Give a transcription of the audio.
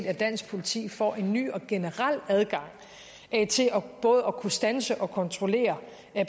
at dansk politi får en ny og generel adgang til både at kunne standse og kontrollere